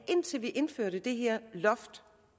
indtil vi indførte det her loft